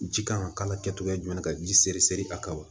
Ji kan ka k'a la kɛcogoya jumɛn na ka ji seri sɛri a kan wa